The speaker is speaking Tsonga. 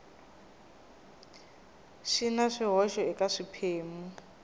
swi na swihoxo eka swiphemu